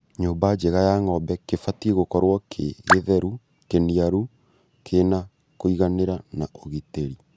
Nyũmba njega ya ng'ombe kĩbatie gũkorwo kĩ githeru, kĩniaru, kĩna kũiganĩra na ũgitĩri